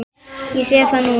Ég sé það núna!